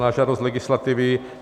Na žádost legislativy.